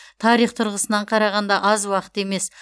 тарих тұрғысынан қарағанда аз уақыт емес